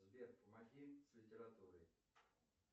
сбер помоги с литературой